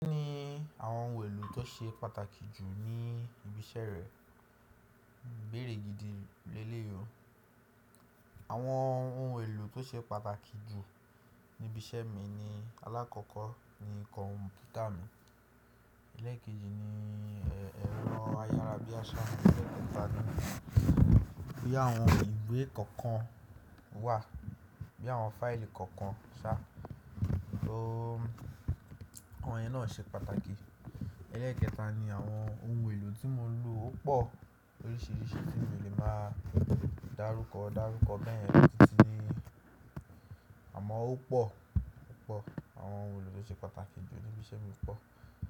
Kí ni àwọn ohun èlò tó ṣe pàtàkì jù ní ibi iṣẹ́ rẹ? Ibéèrè gidi leléyìí o. Àwọn ohun èlò tó ṣe pàtàkì jù níbi iṣẹ́ mi ni, alákọ̀ọ́kọ́ ni komputa mi. Ẹlẹ́ẹ̀keji ni ẹ̀rọ ayárabíàṣá, ẹ̀lẹ́ẹ̀kẹta ni bí àwọn ìwé kọ̀ọ̀kan wà, bí àwọn fáìlì kọ̀ọ̀kan ṣà. Awọn yẹn náà ṣe pàtàkì. Ẹlẹ́ẹ̀kẹta ni àwọn ohun èlò tí mo ńlò ó pọ̀ loríṣíríṣìí tí mi ò lè máa dárúkọ, dárúkọ bẹ́ẹ̀ yẹn tìti ní àmọ́ ó pọ̀ púpọ̀. Àwọn ohun èlò tó ṣe pàtàkì jù níbi iṣẹ́ mi pọ̀.